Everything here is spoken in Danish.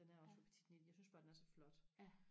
den er også fra petite knit jeg synes bare den er så flot